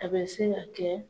A bɛ se ka kɛ